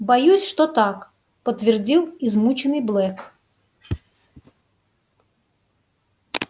боюсь что так подтвердил измученный блэк